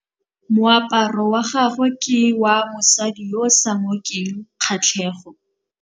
Moaparô wa gagwe ke wa mosadi yo o sa ngôkeng kgatlhegô.